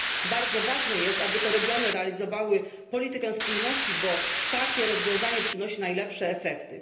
Bardzo ważne jest, aby to regiony realizowały politykę spójności, bo takie rozwiązanie przynosi najlepsze efekty.